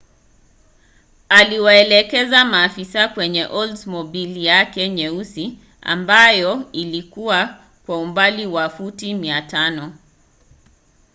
aliwaelekeza maafisa kwenye oldsmobile yake nyeusi ambayo ilikiwa kwa umbali wa futi 500